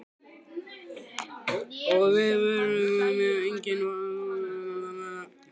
Og viðbrögðin voru í engu samræmi við varfærnisleg tengslin.